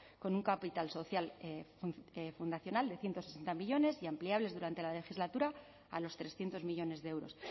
con un capital social fundacional de ciento sesenta millónes y ampliables durante la legislatura a los trescientos millónes de euros